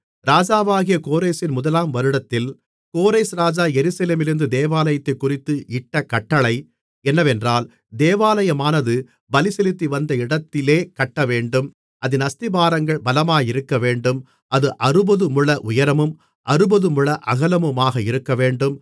ராஜாவாகிய கோரேசின் முதலாம் வருடத்தில் கோரேஸ் ராஜா எருசலேமிலிருந்த தேவாலயத்தைக்குறித்து இட்ட கட்டளை என்னவென்றால் தேவாலயமானது பலிசெலுத்திவந்த இடத்திலே கட்டவேண்டும் அதின் அஸ்திபாரங்கள் பலமாயிருக்கவேண்டும் அது அறுபதுமுழ உயரமும் அறுபதுமுழ அகலமுமாக இருக்கவேண்டும்